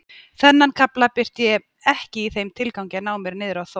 Þennan kafla birti ég ekki í þeim tilgangi að ná mér niðri á Þór